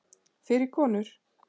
Fyrir konur.